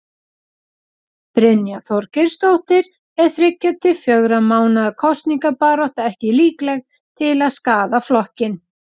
Brynja Þorgeirsdóttir: Er þriggja til fjögurra mánaða kosningabarátta ekki líkleg til að skaða flokkinn?